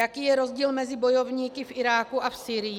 Jaký je rozdíl mezi bojovníky v Iráku a v Sýrii?